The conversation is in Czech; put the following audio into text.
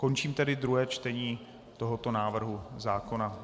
Končím tedy druhé čtení tohoto návrhu zákona.